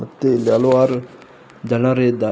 ಮತ್ತು ಇಲ್ಲಿ ಹಲವಾರು ಜನರು ಇದಾ--